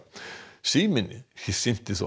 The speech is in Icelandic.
síminn sinnti þó